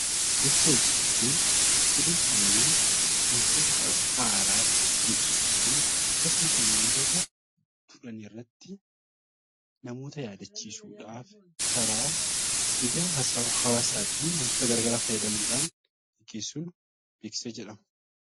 Beeksisa jechuun odeeffannoo wantoota haaraa jiru beeksisuu fi akkasumas wantoota turan irratti namoota yaadachiisuudhaaf karaa miidiyaa hawwaasaa fi wantoota garaa garaa fayyadamuudhaan kan gaggeessinu beeksisa jedhama.